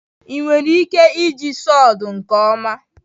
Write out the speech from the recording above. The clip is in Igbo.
ị nwere ike iji sawdu nke ọma?